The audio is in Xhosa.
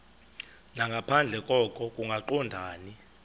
nangaphandle koko kungaqondani